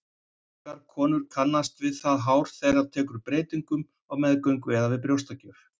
Margar konur kannast við það hár þeirra tekur breytingum á meðgöngu eða við brjóstagjöf.